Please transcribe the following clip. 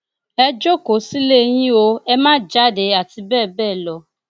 ẹ jókòó sílé yín o ẹ má jáde àti bẹẹ bẹẹ lọ